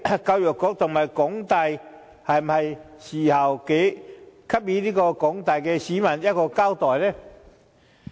教育局和港大是時候給廣大市民一個交代。